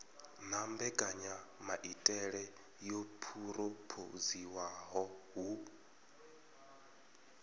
na mbekanyamaitele yo phurophoziwaho hu